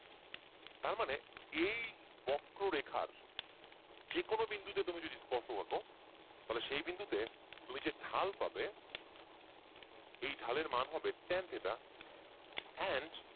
তারমানে এই বক্রো রেখার যে কোনো বিন্দুতে তুমি যদি স্পর্শ আঁকো তাহলে সে বিন্দুতে তুমি যে ঢাল পাবে এই ঢালের ম্যান হবে ten theta and